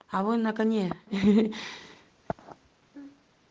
а вы на коне ха-ха-ха